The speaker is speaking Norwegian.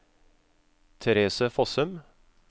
Therese Fossum